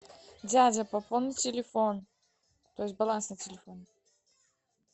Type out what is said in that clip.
дядя пополни телефон то есть баланс на телефоне